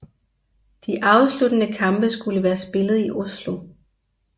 De afsluttende kampe skulle være spillet i Oslo